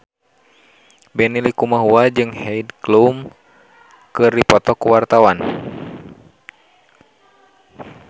Benny Likumahua jeung Heidi Klum keur dipoto ku wartawan